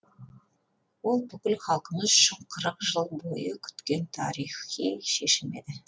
ол бүкіл халқымыз үшін қырық жыл бойы күткен тарихи шешім еді